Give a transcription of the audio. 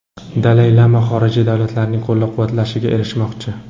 Dalay lama xorijiy davlatlarning qo‘llab-quvvatlashiga erishmoqchi.